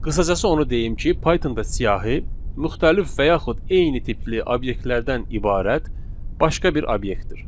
Qısacası onu deyim ki, Pythonda siyahı müxtəlif və yaxud eyni tipli obyektlərdən ibarət başqa bir obyektdir.